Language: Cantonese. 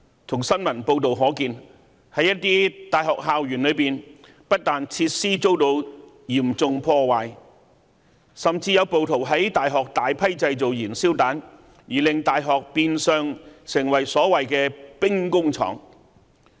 從新聞報道可見，在一些大學校園內，不但設施遭到嚴重破壞，甚至有暴徒在大學製造大量燃燒彈，而令大學變相成為所謂"兵工廠"。